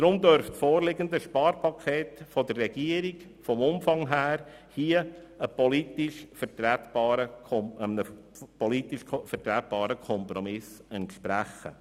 Deshalb dürfte das vorliegende Sparpaket der Regierung in Bezug auf dessen Umfang einem politisch vertretbaren Kompromiss entsprechen.